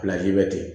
bɛ ten